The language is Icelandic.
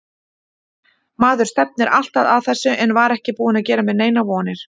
Maður stefnir alltaf að þessu en var ekki búinn að gera mér neinar vonir.